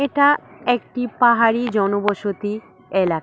এটা একটি পাহাড়ি জনবসতি এলাক--